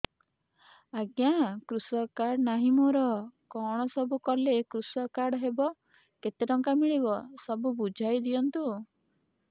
ଆଜ୍ଞା କୃଷକ କାର୍ଡ ନାହିଁ ମୋର କଣ ସବୁ କଲେ କୃଷକ କାର୍ଡ ହବ କେତେ ଟଙ୍କା ମିଳିବ ସବୁ ବୁଝାଇଦିଅନ୍ତୁ